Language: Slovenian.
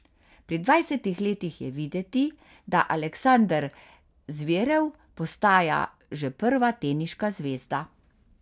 Pri dvajsetih letih je videti, da Aleksander Zverev postaja že prva teniška zvezda.